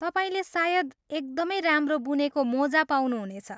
तपाईँले सायद एकदमै राम्रो बुनेको मोजा पाउनुहुनेछ।